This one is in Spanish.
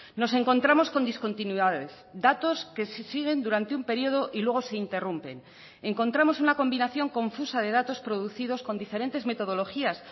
nos encontramos con discontinuidades datos que se siguen durante un periodo y luego se interrumpen y encontramos una combinación confusa de datos producidos con diferentes metodologías